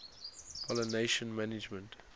pollination management